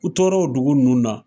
U toro o dugu nunnu na.